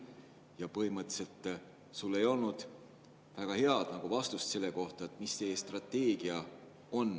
Ja põhimõtteliselt sul ei olnud väga head vastust selle kohta, mis teie strateegia on.